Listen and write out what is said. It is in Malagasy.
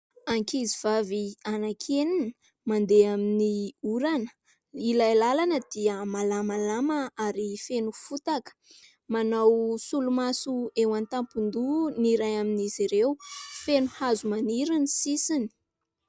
Ankizivavy anankenina mandeha amin'ny orana. Ilay lalana dia malamalama ary feno fotaka. Manao solomaso eo an-tampon-doha ny iray amin'izy ireo, feno hazo maniry ny sisiny.